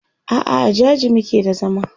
a'a a jaji muke da zama